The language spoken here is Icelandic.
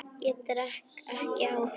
Ég drekk ekki áfengi.